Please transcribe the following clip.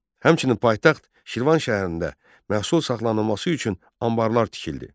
Həmçinin paytaxt Şirvan şəhərində məhsul saxlanılması üçün anbarlar tikildi.